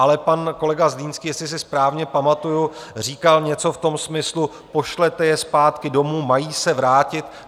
Ale pan kolega Zlínský, jestli si správně pamatuju, říkal něco v tom smyslu: pošlete je zpátky domů, mají se vrátit.